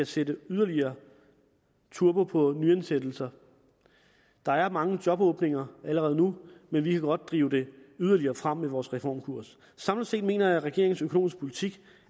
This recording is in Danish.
sætter yderligere turbo på nyansættelser der er mange jobåbninger allerede nu men vi kan godt drive det yderligere frem med vores reformkurs samlet set mener jeg at regeringens økonomiske politik